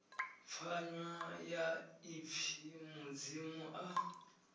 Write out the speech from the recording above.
pfanywa ya ipfi mudzimu a